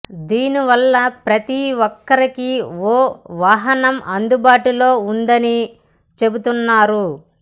దీని వల్ల ప్రతి ఒక్కరికీ ఓ వాహనం అందుబాటులో ఉంటుందని చెబుతున్నారు